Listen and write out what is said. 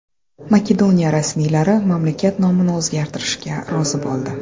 Makedoniya rasmiylari mamlakat nomini o‘zgartirishga rozi bo‘ldi.